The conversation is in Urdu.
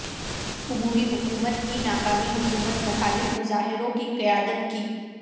عبوری حکومت کی ناکامی حکومت مخالف مظاہروں کی قیادت کی